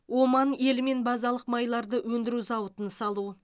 оман елімен базалық майларды өндіру зауытын салу